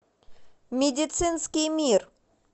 медицинский мир